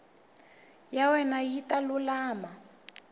ya wena yi ta lulama